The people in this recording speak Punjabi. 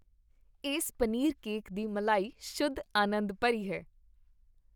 ਇਸ ਪਨੀਰਕੇਕ ਦੀ ਮਲਾਈ ਸ਼ੁੱਧ ਅਨੰਦ ਭਰੀ ਹੈ।